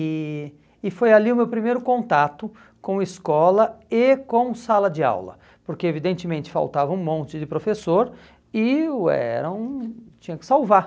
E e foi ali o meu primeiro contato com escola e com sala de aula, porque evidentemente faltava um monte de professor e ué, eu tinha que salvar.